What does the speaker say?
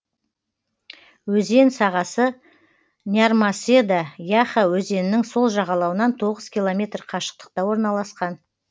өзен сағасы нярмаседа яха өзенінің сол жағалауынан тоғыз километр қашықтықта орналасқан